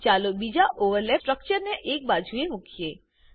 ચાલો બીજા ઓવરલેપિંગ સ્ટ્રક્ચરને એક બાજુ મુકીએ